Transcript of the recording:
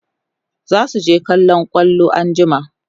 zasu je kallon kwallo anjima